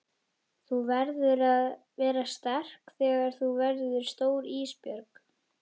Þú verður að vera sterk þegar þú verður stór Ísbjörg.